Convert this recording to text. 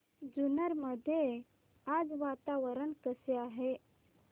जुन्नर मध्ये आज वातावरण कसे आहे